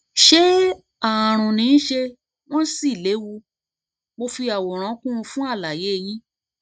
ṣé ààrùn ni ṣé wọn sì léwu mo fi àwòrán kún un fún àlàyé yín